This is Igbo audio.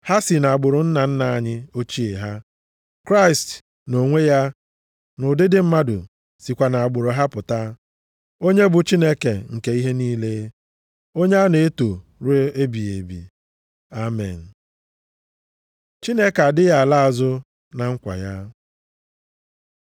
Ha si nʼagbụrụ nna nna anyị ochie ha. Kraịst nʼonwe ya, nʼụdịdị mmadụ, sikwa nʼagbụrụ ha pụta, onye bụ Chineke nke ihe niile, onye a na-eto ruo ebighị ebi. Amen. Chineke adịghị ala azụ na nkwa ya